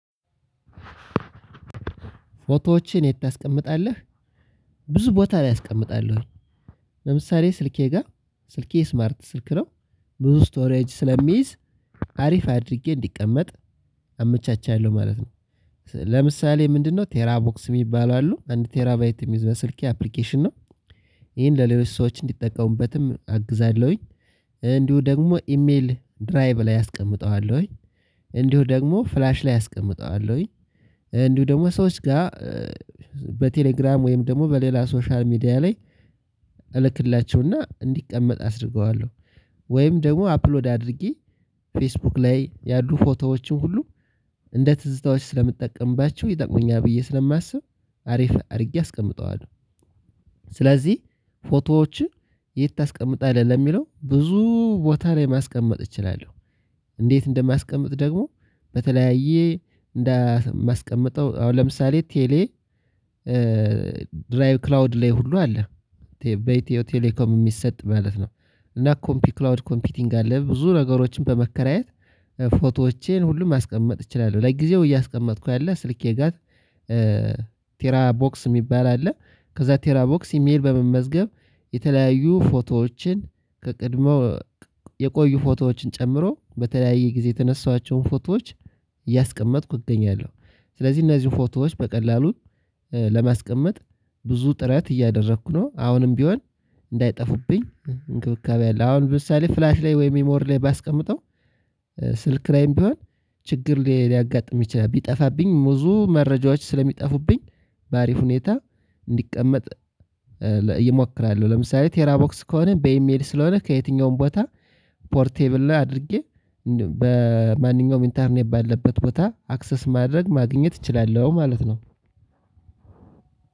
ፎቶዎችን የት ታስቀምጣለህ? ብዙ ቦታ ላይ አስቀምጣለሁኝ። ለምሳሌ ስልኬ ጋር ስልኬ ስማርት ስልክ ነው። ብዙ ስቶሬጅ ስለሚይዝ አሪፍ አድርጌ እንዲቀመጥ አመቻቻለሁ ማለት ነው። ለምሳሌ ምንድነው ቴራ ቦክስ የሚባሉ አሉ አንድ ቴራ ቴራባይት የሚይዝ በስልኬ አፕሊኬሽን ነው። ይሄን ለሌሎች ሰዎች እንዲጠቀሙበትም አግዛለሁኝ። እንዲሁ ደግሞ ኢሜል ድራይቭ ላይ አስቀምጠዋለሁኝ። እንዲሁ ደግሞ ፍላሽ ላይ አስቀምጠዋለሁኝ። እንዲሁም ደግሞ ሰዎች ጋር በቴሌግራም ወይም ደግሞ በሌላ ሶሻል ሚዲያ ላይ እንዲቀመጥ አስደርገዋለሁ። ወይም ደግሞ አፕሎድ አድርጌ ፌስቡክ ላይ ያሉ ፎቶዎችን ሁሉ እንደ ትዝታዎች ስለምጠቀምባቸው ይጠቅሙኛል ብዬ ስለማስብ አሪፍ አድርጌ አስቀምጠዋለሁ። ስለዚህ ፎቶዎችን የት ታስቀምጣለህ? ለሚለው ብዙ ቦታ ላይ ማስቀመጥ እችላለሁ። እንዴት እንደማስቀምጥ ደግሞ በተለያየ እንደማስቀምጠው አሁን ለምሳሌ ቴሌ ድራይቭ ክላውድ ላይ ሁሉ አለ። በኢትዮ ቴሌኮም የሚሰጥ ማለት ነው። እና ኮምፒ ክላውድ ኮምፒቲንግ አለ ብዙ ነገሮችን በመከራየት ፎቶዎቼን ሁሉም ማስቀመጥ እችላለሁ ለጊዜው እያስቀመጥኩ ያለ ስልኬ ጋር። ቴራ ቦክስ የሚባል አለ። ከዛ ቴራ ቦክስ ኢሜል በመመዝገብ የተለያዩ ፎቶዎችን የቀድሞ የቆዩ ፎቶዎችን ጨምሮ በተለያየ ጊዜ የተነሳኋቸውን ፎቶዎች እያስቀመጥኩ እገኛለው። ስለዚህ እነዚህ ፎቶዎች በቀላሉ ለማስቀመጥ ብዙ ጥረት እያደረኩ ነው። አሁንም ቢሆን እንዳይጠፉብኝ እንክብካቤ አለ አሁን ለምሳሌ ፍላሽ ላይ ወይም ሜሞር ላይ ባስቀምጠው ስልክ ላይም ቢሆን ችግር ሊያጋጥም ይችላል። ቢጠፋብኝ ብዙ መረጃዎች ስለሚጠፉብኝ ባሪፍ ሁኔታ እንዲቀመጥ እሞክራለሁ። ለምሳሌ ቴራ ቦክስ ከሆነ በኢሜል ስለሆነ ከየትኛውም ቦታ ፖርቴብል ላይ አድርጌ በማንኛውም ኢንተርኔት ባለበት ቦታ አክሰስ ማድረግ ማግኘት እችላለሁ ማለት ነው።